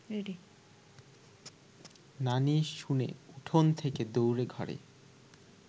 নানি শুনে উঠোন থেকে দৌড়ে ঘরে